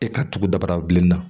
E ka tugu dabarabilen na